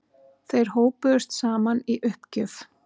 Þeir hópuðust saman í uppgjöf.